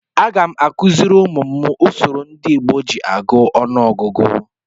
Agam akuziri umum m usoro ndị Igbo ji agụ ọnụọgụgụ.